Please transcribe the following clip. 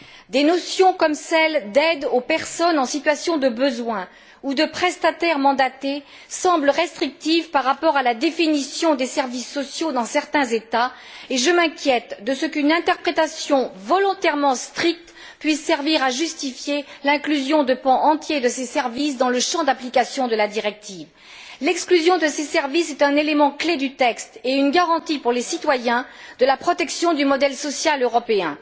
Des notions comme celles d'aide aux personnes en situation de besoin, ou de prestataires mandatés semblent restrictives par rapport à la définition des services sociaux dans certains États, et je m'inquiète de ce qu'une interprétation volontairement stricte puisse servir à justifier l'inclusion de pans entiers de ces services dans le champ d'application de la directive. L'exclusion de ces services est un élément clé du texte et une garantie pour les citoyens de la protection du modèle social européen.